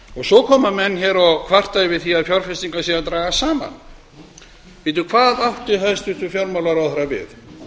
hagkerfið svo kvarta menn hér yfir því að fjárfestingar séu að dragast saman hvað átti hæstvirtur fjármálaráðherra við